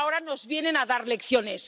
Y ahora nos vienen a dar lecciones.